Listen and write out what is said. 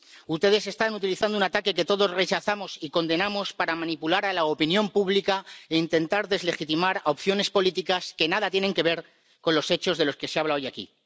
Ustedes están utilizando un ataque que todos rechazamos y condenamos para manipular a la opinión pública e intentar deslegitimar opciones políticas que nada tienen que ver con los hechos de los que se habla hoy aquí.